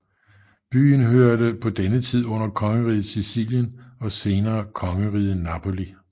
Byen hørte på denne tid under kongeriget Sicilien og senere kongeriget Napoli